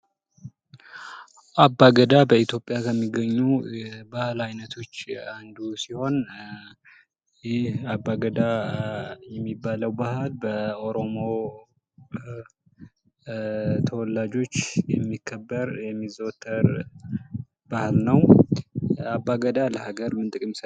አባገዳ በኢትዮጵያ ከሚገኙ ባህል ዓይነቶች አንዱ ሲሆን፤ ይህ አባገዳ የሚባለው ባህል በኦሮሞ ተወላጆች የሚከበር፣ የሚዘወተር ባህል ነው። አባገዳ ለሀገር ምን ጥቅም ይሰጣል?